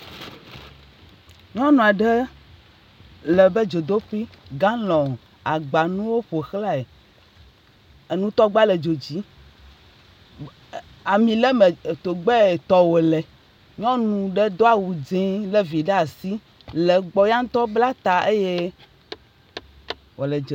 Nyɔnu aɖe le ebe dzodoƒi, galɔ, agbanuwo ƒo xlaɛ, enutɔgba le dzo dzi, ami le me, togbɛ tɔ wòle, nyɔnu ɖe do awu dze lé vi ɖe asi le gbɔ, yantɔ bla ta eye wòle dze….